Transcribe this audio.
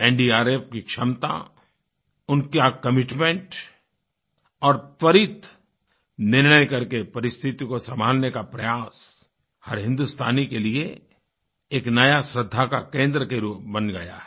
NDRF की क्षमता उनके कमिटमेंट और त्वरित निर्णय करके परिस्थिति को सँभालने का प्रयास हर हिन्दुस्तानी के लिए एक नया श्रद्धा का केंद्र बन गया है